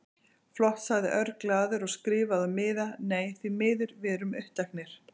Flott sagði Örn glaður og skrifaði á miða: Nei, því miður, við erum uppteknir